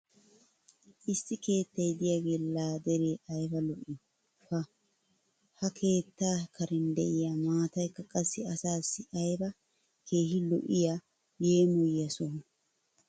Issi keettay diyaagee laa deree ayba lo'ii! pa ha keettaa karen diya maataykka qassi asaassi ayba keehi lo'iya yeemmoyiya sohoo!